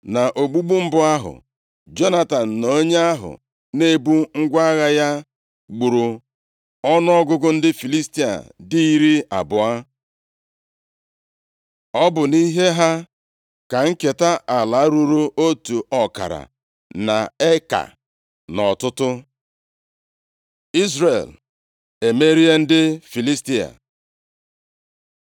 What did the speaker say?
Na ogbugbu mbụ ahụ, Jonatan na onye ahụ na-ebu ngwa agha ya gburu ọnụọgụgụ ndị Filistia dị iri abụọ. Ọ bụ nʼihe ha ka nketa ala ruru otu ọkara nʼekaa + 14:14 Maọbụ, ọkara furo nʼọtụtụ nʼọtụtụ. Izrel emerie ndị Filistia